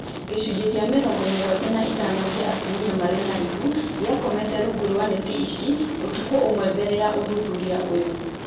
Gĩcunjĩ kĩa mĩrongo mũgwanja na ithano kĩa atumia marĩ na ihu gĩakomete rungu rwa neti ici ũtukũ ũmwe mbele ya ũthuthuria ũyũ